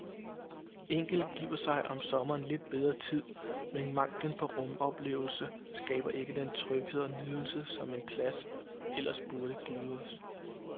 Enkelte giver sig om sommeren lidt bedre tid, men manglen på rumoplevelse skaber ikke den tryghed og nydelse, som en plads ellers burde give os.